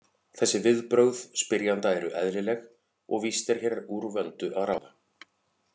Þessi viðbrögð spyrjanda eru eðlileg og víst er hér úr vöndu að ráða.